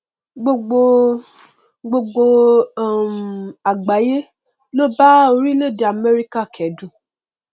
gbogbo gbogbo um àgbáyé ló bá orilẹèdè amẹrika kẹdùn